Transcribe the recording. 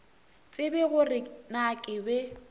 tsebe gore na ke be